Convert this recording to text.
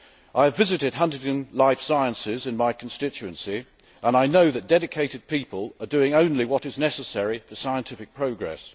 I have visited Huntingdon Life Sciences in my constituency and I know that dedicated people are doing only what is necessary for scientific progress.